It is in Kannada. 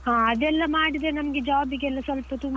ಹಾ ಅದೆಲ್ಲ ಮಾಡಿದ್ರೆ ನಮಗೆ job ಗೆಲ್ಲ ಸ್ವಲ್ಪ ತುಂಬಾ.